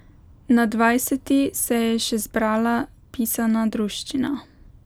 Na dvajseti se je še zbrala pisana druščina.